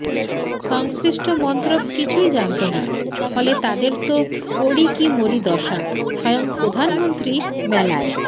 সংশ্লিষ্ট মন্ত্রক কিছুই জানত না ফলে তাদের তো পড়ি কি মরি দশা স্বয়ং প্রধানমন্ত্রী মেলায়